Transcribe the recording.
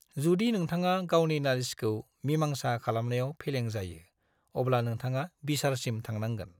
जुदि नोंथाङा गावनि नालिसखौ मिमांसा खालामनायाव फेलें जायो, अब्ला नोंथाङा बिसारसिम थांनांगोन।